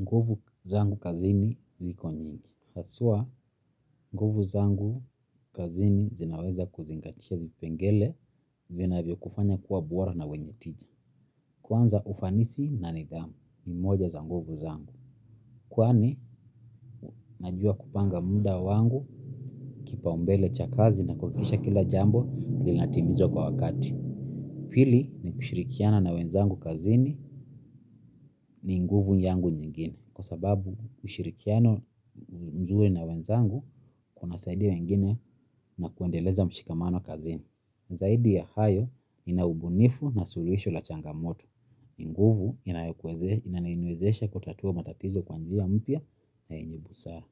Nguvu zangu kazini ziko nyingi. Haswa, nguvu zangu kazini zinaweza kuzingatisha vipengele vinavyo kufanya kuwa bora na wenye tija. Kwanza ufanisi na nidhamu ni moja za nguvu zangu. Kwani, najua kupanga muda wangu kipaumbele cha kazi na kuhakikisha kila jambo linatimizwa kwa wakati. Pili, ni kushirikiana na wenzangu kazini ni nguvu yangu nyingine. Kwa sababu ushirikiano mzuri na wenzangu kunasaidia wengine na kuendeleza mshikamano kazini. Zaidi ya hayo nina ubunifu na suluhisho la changamoto. Nguvu inaniwezesha kutatua matatizo kwa njia mpya na yenye busara.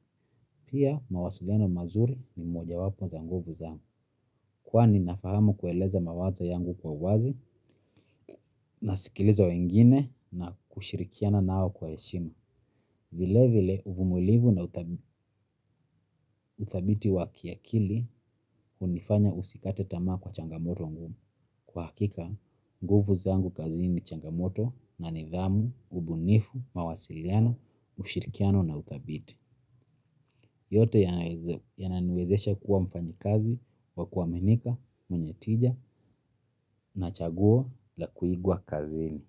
Pia mawasiliano mazuri ni mojawapo za nguvu zangu. Kwani nafahama kueleza mawazo yangu kwa uwazi nasikiliza wengine na kushirikiana nao kwa heshima. Vile vile uvumulivu na uthabiti wa kiakili hunifanya usikate tamaa kwa changamoto ngumu. Kwa hakika, nguvu zangu kazini ni changamoto na nidhamu, ubunifu, mawasiliano, ushirikiano na uthabiti. Yote yananiwezesha kuwa mfanyikazi wa kuaminika, mwenye tija na chaguo la kuigwa kazini.